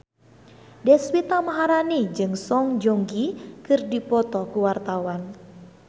Deswita Maharani jeung Song Joong Ki keur dipoto ku wartawan